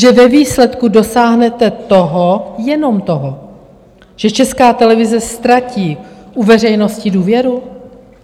Že ve výsledku dosáhnete toho, jenom toho, že Česká televize ztratí u veřejnosti důvěru?